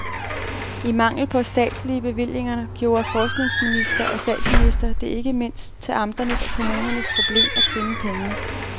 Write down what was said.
I mangel på statslige bevillinger gjorde forskningsminister og statsminister det ikke mindst til amternes og kommunernes problem at finde pengene.